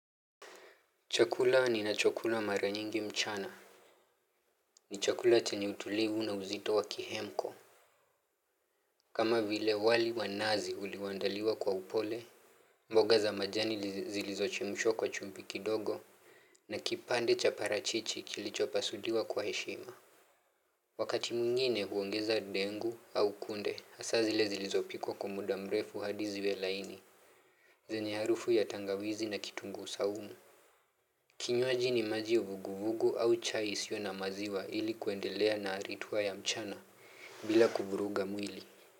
Chakula ni na chokula mara nyingi mchana ni chakula chani utulivu na uzito wa kihemko kama vile wali wanazi uliwandaliwa kwa upole mboga za majani zilizochemshwa kwa chumvi kidogo na kipande cha parachichi kilichopasuliwa kwa heshima Wakati mwngine huongeza dengu au kunde hasa zile zilizopikwa kwa mudamrefu hadi ziwe laini zenye harufu ya tangawizi na kitungu saumu Kinywaji ni maji vuguvugu au chai isio na maziwa ilikuendelea na arituwa ya mchana bila kuvuruga mwili.